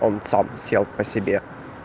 он сам сел по себе